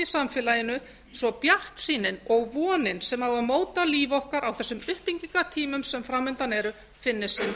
samfélaginu svo bjartsýnin og vonin sem á að móta líf okkar á þessum byltingartímum sem fram undan eru finnist þeim